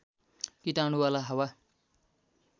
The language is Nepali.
कीटाणु वाला हावा